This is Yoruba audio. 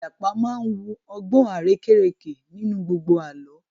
Ìjàpá máa wu ọgbọ́n arérekè nínú gbogbo Àlọ́